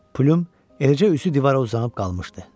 Plüm eləcə üzü divara uzanıb qalmışdı.